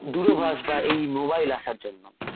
দূরভাষবর বা এই মোবাইল আসার জন্য